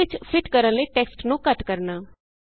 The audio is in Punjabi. ਸੈੱਲ ਵਿਚ ਫਿਟ ਕਰਨ ਲਈ ਟੈਕਸਟ ਨੂੰ ਛੋਟਾ ਕਰਨਾ